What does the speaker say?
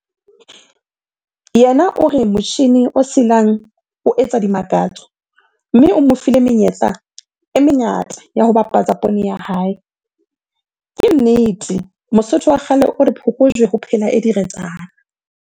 Yena o re motjhine o silang o etsa dimakatso, mme o mo file menyetla e mengata ya ho bapatsa poone ya hae. Ke nnete, Mosotho wa kgale o re, phokojwe ho phela e diretsana!